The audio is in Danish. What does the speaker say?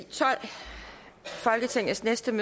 statsministeren